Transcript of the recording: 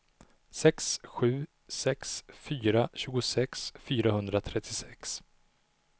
sex sju sex fyra tjugosex fyrahundratrettiosex